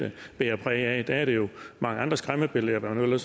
bærer præg af der er det jo andre skræmmebilleder og hvad man nu